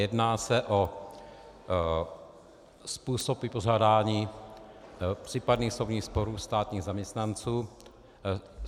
Jedná se o způsob vypořádání případných soudních sporů státních zaměstnanců.